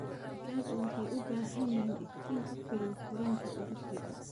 Digaagga waxay u baahan yihiin iftiin ku filan korriinka ugu fiican.